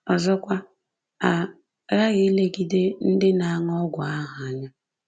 Ọzọkwa, a ghaghị ilegide ndị na-aṅụ ọgwụ ahụ anya